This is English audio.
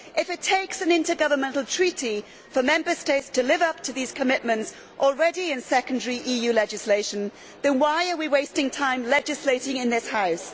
If it takes an intergovernmental treaty for Member States to live up to these commitments already in secondary EU legislation, then why are we wasting time legislating in this House?